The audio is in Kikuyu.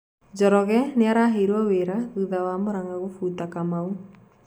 Njoroge niaraheirwo wira thutha wa Muranga gũbũta Kamau.